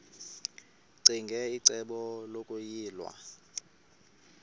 ccinge icebo lokuyilwa